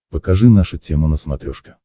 покажи наша тема на смотрешке